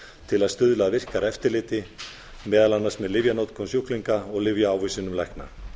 til að stuðla að virkara eftir liti meðal annars með lyfjanotkun sjúklinga og lyfjaávísunum lækna